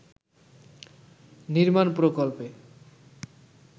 নির্মাণ প্রকল্পে